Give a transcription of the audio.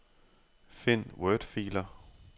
Find wordfiler.